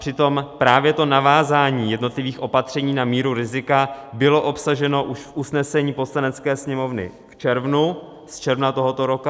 Přitom právě to navázání jednotlivých opatření na míru rizika bylo obsaženo už v usnesení Poslanecké sněmovny v červnu, z června tohoto roku.